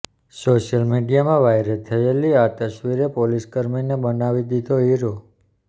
social મીડિયામાં viral થયેલી આ તસવીરે પોલીસકર્મીને બનાવી દીધો હીરો